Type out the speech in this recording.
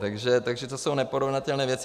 Takže to jsou neporovnatelné věci.